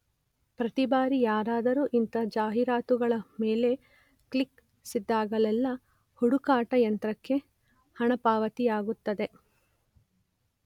ಪ್ರತಿಬಾರಿ ಯಾರಾದರೂ ಇಂತಹ ಜಾಹೀರಾತುಗಳ ಮೇಲೆ ಕ್ಲಿಕ್ಕಿಸಿದಾಗಲೆಲ್ಲ ಹುಡುಕಾಟ ಯಂತ್ರಕ್ಕೆ ಹಣಪಾವತಿಯಾಗುತ್ತದೆ.